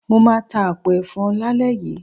Mo máa ta àpò ẹ̀fọn lálẹ́ yìí.